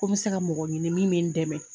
Ko n bɛ se ka mɔgɔ ɲini min bɛ n dɛmɛ.